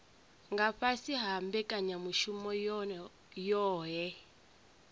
nga fhasi ha mbekanyamushumo yohe